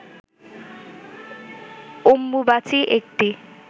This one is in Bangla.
অম্বুবাচী একটি